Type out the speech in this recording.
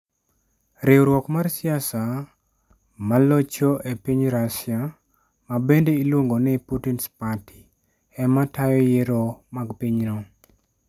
Riwruok mar siasa ma locho e piny Russia, ma bende iluongo ni Putin's Party, ema tayo yiero mag pinyno